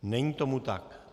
Není tomu tak.